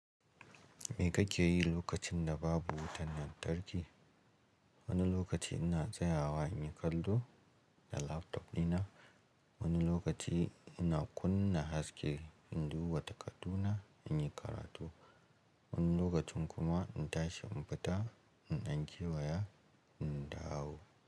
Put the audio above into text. Me kake yi lokacin da babu wutan lantarki? Wani lokaci ina tsayawa in yi kallo da laptop dina, wani lokaci ina kunna haske in duba takardu na in yi karatu, wani lokacin kuma ina tashi in fita in ɗage waya in dawo.